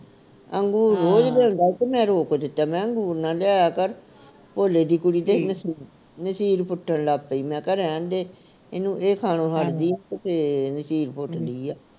ਅੰਗੂਰ ਰੋਜ ਲਿਆਉਦਾ ਤੇ ਮੈਂ ਰੋਕ ਦਿੱਤਾ ਮਹਿ ਅੰਗੂਰ ਨਾ ਲਿਆਇਆ ਕਰ ਭੋਲੇ ਦੀ ਕੁੜੀ ਦੀ ਨਸੀਰ ਨਸੀਰ ਫੁੱਟਣ ਲੱਗ ਪਈ ਮੈਂ ਕਿਹਾ ਰਹਿਣ ਦੇ ਇਹਨੂੰ ਇਹ ਖਾਣੋ ਹੱਟਦੀ ਨੀ ਤੇ ਫੇਰ ਨਸੀਰ ਫੁੱਟਦੀ ਆ